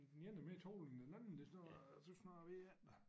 Den ene er mere tovlig end den anden det snart tøs snart jeg ved ik